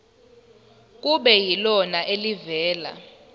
kube yilona elivela